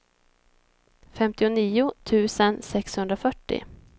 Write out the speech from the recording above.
femtionio tusen sexhundrafyrtio